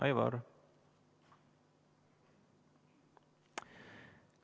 Aivar!